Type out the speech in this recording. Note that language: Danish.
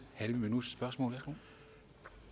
kunne